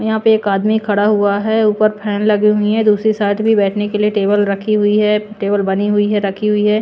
यहां पे एक आदमी खड़ा हुआ है ऊपर फैन लगी हुई है दूसरी साइड भी बैठने के लिए टेबल रखी हुई है टेबल बनी हुई है रखी हुई है।